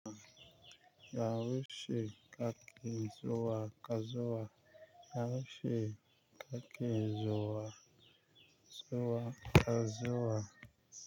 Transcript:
Yaushe kake zuwa Kazuwa? Yaushe kake zuwa zuwa Kazowa?